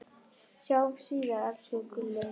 Sjáumst síðar, elsku Gulli.